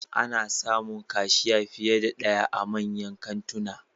Ana samun kashiya fiye da daya a manyan kantuna